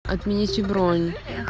отмените бронь